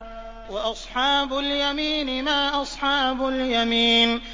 وَأَصْحَابُ الْيَمِينِ مَا أَصْحَابُ الْيَمِينِ